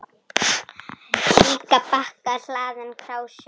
Líka bakka hlaðinn krásum.